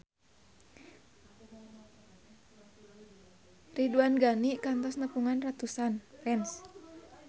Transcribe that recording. Ridwan Ghani kantos nepungan ratusan fans